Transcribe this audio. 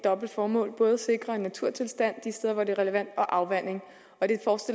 dobbelt formål både at sikre en naturtilstand de steder hvor det er relevant og afvanding